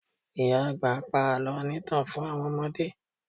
Ìyá àgbà pa àlọ́ onítàn fún àwọn ọmọdé